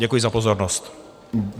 Děkuji za pozornost.